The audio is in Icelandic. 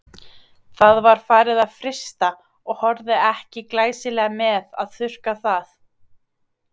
Það var farið að frysta og horfði ekki glæsilega með að þurrka það.